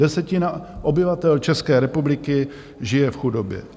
Desetina obyvatel České republiky žije v chudobě.